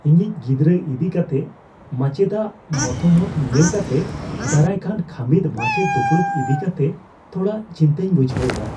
ᱤᱧᱤᱡ ᱜᱤᱫᱽᱨᱟᱹ ᱤᱫᱤ ᱠᱟᱛᱮ ᱢᱟᱪᱮᱫᱟᱜ ᱢᱚᱛᱟᱢᱚᱛ ᱧᱮᱞ ᱠᱟᱛᱮ ᱫᱟᱨᱟᱭᱠᱟᱱ ᱠᱷᱟᱹᱢᱤᱫᱼᱢᱟᱪᱮᱫ ᱫᱩᱯᱩᱲᱩᱵ ᱤᱫᱤ ᱠᱟᱛᱮᱜ ᱛᱷᱚᱲᱟ ᱪᱤᱱᱛᱟᱹᱧ ᱵᱩᱡᱷᱟᱹᱣ ᱮᱫᱟ ᱾